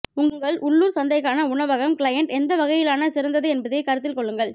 உங்கள் உள்ளூர் சந்தைக்கான உணவகம் கிளையண்ட் எந்த வகையிலான சிறந்தது என்பதைக் கருத்தில் கொள்ளுங்கள்